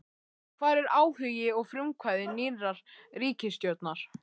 Hvar er áhugi og frumkvæði nýrrar ríkisstjórnar?